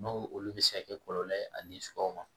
N'o olu bɛ se ka kɛ kɔlɔlɔ ye ani suraw ma